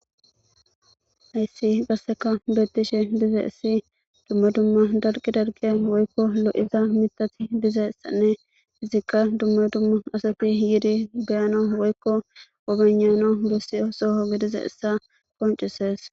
hayssi qasseka beettishe diza issi dumma dumma dalqi dalqiya woykko lo7iza mitati dizssaanne izikka dumma dumma asati yiidi beyana woykko obanano bossi osoho gidiza issa qoncesees